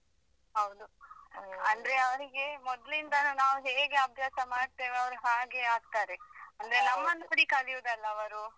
ಹೌದು ಅಂದ್ರೆ ಅವರಿಗೆ ಮೊದ್ಲಿಲನು ನಾವು ಹೇಗೆ ಅಭ್ಯಾಸ ಮಾಡ್ತೇವೆ ಅವರು ಹಾಗೆ ಆಗ್ತಾರೆ ಅಂದ್ರೆ ನಮ್ಮನ್ನು ನೋಡಿ ಕಲಿಯುದಲ್ಲ ಅವರು.